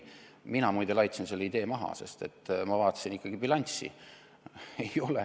Mina muide laitsin selle idee maha, sest ma vaatasin ikkagi bilanssi.